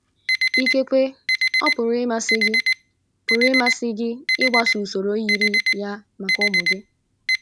Ikekwe ọ pụrụ ịmasị gị pụrụ ịmasị gị ịgbaso usoro yiri ya maka ụmụ gị.